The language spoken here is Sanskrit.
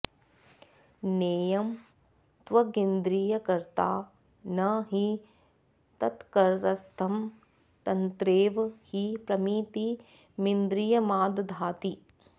नेयं त्वगिन्द्रियकृता न हि तत्करस्थं तत्रैव हि प्रमितिमिन्द्रियमादधाति